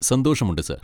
സന്തോഷമുണ്ട് സാർ.